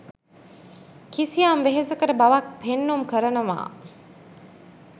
කිසියම් වෙහෙසකර බවක් පෙන්නුම් කරනවා.